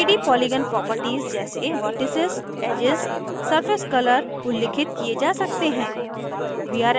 3d polygon properties जैसे vertices vertices edges edges surface color surface color उल्लिखित किये जा सकते हैं